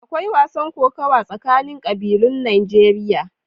Akwai wasan kokawa tsakanin ƙabilun Najeriya.